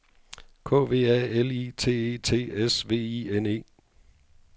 K V A L I T E T S V I N E